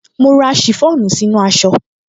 Mo rán ṣìfọ́ònù sínú aṣọ